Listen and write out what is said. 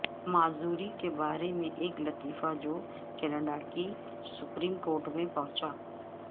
معذوری کے بارے میں ایک لطیفہ جو کینیڈا کی سپریم کورٹ تک پہنچا